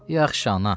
Yaxşı, ana.